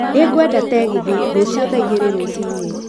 Nĩ ngwenda tegithi rũcio thaa igĩri rucinĩ